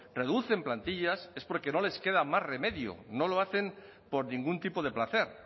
reducen plantillas es porque no les queda más remedio no lo hacen por ningún tipo de placer